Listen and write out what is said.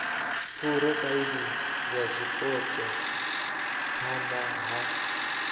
phurofaili ya zwipotso phana ha